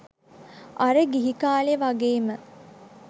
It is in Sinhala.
අර ගිහි කාලෙ වගේම